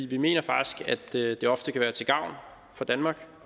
vi mener faktisk at det i være til gavn for danmark